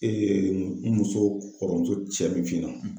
n muso kɔrɔmuso cɛ min f'i ɲɛna.